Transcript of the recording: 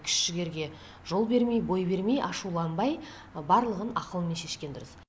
күш жігерге жол бермей бой бермей ашуланбай барлығын ақылмен шешкен дұрыс